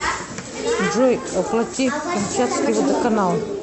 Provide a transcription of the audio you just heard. джой оплати камчатский водоканал